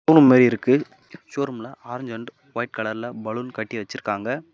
மாரி இருக்கு ஷோரூம்ல ஆரஞ்சு அண்ட் வைட் கலர்ல பலூன் கட்டி வெச்சிருக்காங்க.